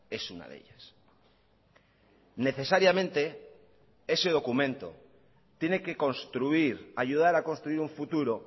es una de ellas necesariamente ese documento tiene que construir ayudar a construir un futuro